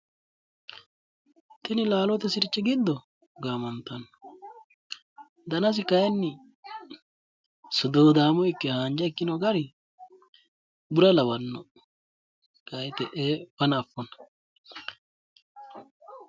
Tini laalote sirchi giddo gaamantanno danasi kayinni haanja ikke suduudaamo ikkino gari bura lawanno kayi te'ee fana affona.